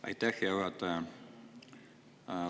Aitäh, hea juhataja!